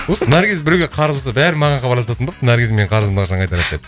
осы наргиз біреуге қарыз болса бәрі маған хабарласатын болыпты наргиз менің қарызымды қашан қайтарады деп